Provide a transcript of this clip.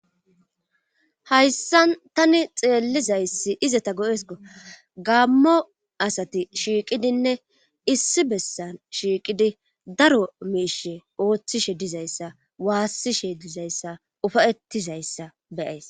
hayssan tani xeellizayssi izata go7esko gammo asati shiiqidinne issi bessan shiiqidi daro meishe ooththishe dizayssa waassishe dizayssa ufayettizayssa beyays